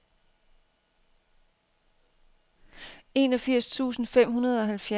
enogfirs tusind fem hundrede og halvfjerds